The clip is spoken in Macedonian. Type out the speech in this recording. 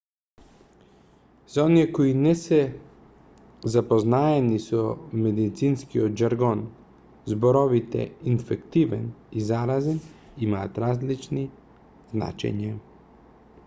за оние кои не се запознаени со медицинскиот жаргон зборовите инфективен и заразен имаат различни значења